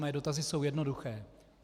Mé dotazy jsou jednoduché.